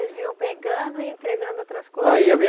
Vocês vinham pegando e entregando outras